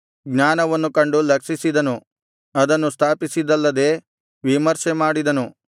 ಜ್ಞಾನವನ್ನು ಕಂಡು ಲಕ್ಷಿಸಿದನು ಅದನ್ನು ಸ್ಥಾಪಿಸಿದ್ದಲ್ಲದೆ ವಿಮರ್ಶೆಮಾಡಿದನು